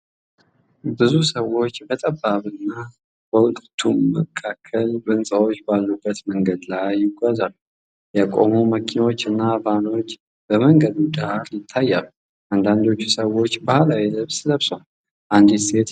ብዙ ሰዎች በጠባብና በሁለቱም በኩል ህንጻዎች ባሉበት መንገድ ላይ ይጓዛሉ። የቆሙ መኪኖችና ቫኖች በመንገዱ ዳር ይታያሉ። አንዳንድ ሰዎች ባሕላዊ ልብስ ለብሰዋል፤ አንዲት ሴት ዣንጥላ ይዛለች።